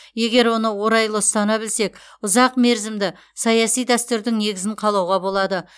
егер оны орайлы ұстана білсек ұзақмерзімді саяси дәстүрдің негізін қалауға болады